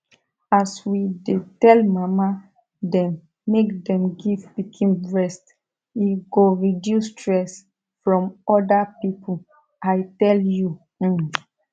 as we dey tell mama them make them give pikin breast e go reduce stress from other people i tell you um